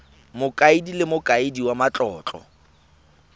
mokaedi le mokaedi wa matlotlo